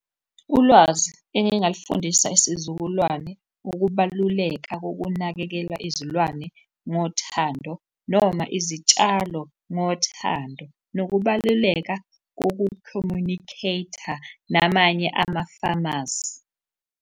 Ulwazi engingalufundisa isizukulwane, ukubaluleka kokunakekela izilwane ngothando noma izitshalo ngothando, nokubaluleka kokukhomunikheytha namanye ama-pharmacy.